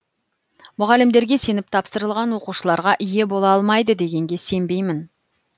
мұғалімдерге сеніп тапсырылған оқушыларға ие бола алмайды дегенге сенбеймін